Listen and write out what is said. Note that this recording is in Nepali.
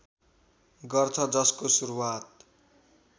गर्छ जसको सुरुवात